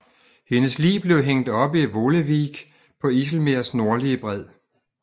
Hendes lig blev hængt op i Volewijk på IJs nordlige bred